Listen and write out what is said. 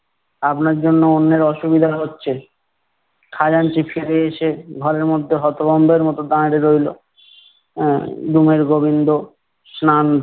আপনার জন্য অন্যের অসুবিধা হচ্ছে। খাজাঞ্চি ফিরে এসে ঘরের মধ্যে হতভম্বের মতো দাঁড়ে রইলো। আহ room এর গোবিন্দ স্নান